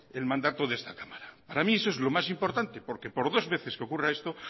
el mandato de esta cámara para mí eso es lo mas importante porque por dos veces que ocurra esto